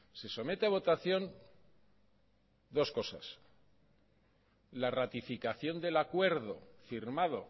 se somete a votación dos cosas la ratificación del acuerdo firmado